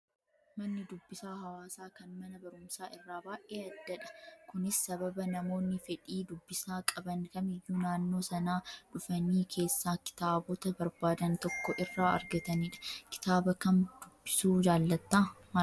Manni dubbisaa hawaasaa kan mana barumsaa irraa baay'ee addadha. Kunis sababa namoonni fedhii dubbisaa qaban kamiyyuu naannoo Sanaa dhufanii keessaa kitaabota barbaadan tokko irraa argatanidha. Kitaaba kam dubbisuu jaallattaa? Maaliif?